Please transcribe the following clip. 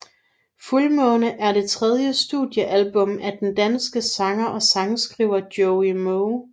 Fuldmåne er det tredje studiealbum af den danske sanger og sangskriver Joey Moe